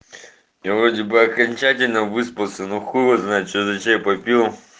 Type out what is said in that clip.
я вроде бы окончательно выспался но хуй его знает что за чай попил